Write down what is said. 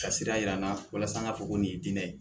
Ka sira yira n na walasa an ka fɔ ko nin ye diinɛ ye